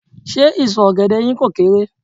Ṣé ìsọ̀ ọ̀gẹ̀dẹ̀ yín kò kééré?